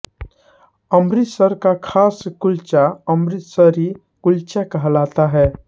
अमृतसर का खास कुल्चा अमृतसरी कुल्चा कहलाता हैं